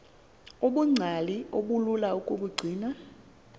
ubungcali obulula ukubugcina